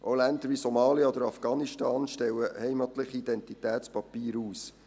Auch Länder wie Somalia oder Afghanistan stellen heimatliche Identitätspapiere aus.